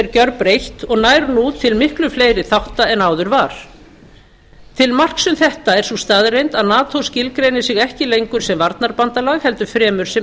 er gjörbreytt og nær nú til miklu fleiri þátta en áður var til marks um þetta er sú staðreynd að nato skilgreinir sig ekki lengur sem varnarbandalag heldur fremur sem